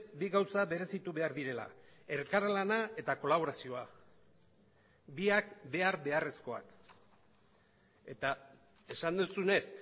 bi gauza berezitu behar direla elkarlana eta kolaborazioa biak behar beharrezkoak eta esan duzunez